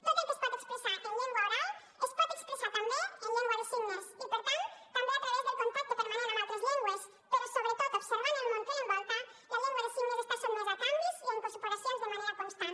tot el que es pot expressar en llengua oral es pot expressar també en llengua de signes i per tant també a través del contacte permanent amb altres llengües però sobretot observant el món que l’envolta la llengua de signes està sotmesa a canvis i a incorporacions de manera constant